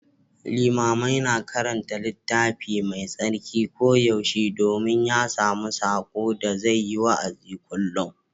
Limamai na karanta Littafi Mai Tsarki koyaushe domin ya sami saƙo da zai yi wa'azi kullum.